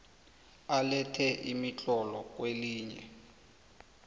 alethe imitlolo kwelinye